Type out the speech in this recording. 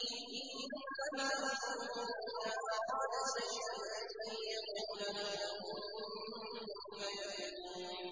إِنَّمَا أَمْرُهُ إِذَا أَرَادَ شَيْئًا أَن يَقُولَ لَهُ كُن فَيَكُونُ